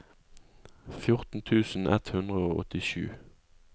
fjorten tusen ett hundre og åttisju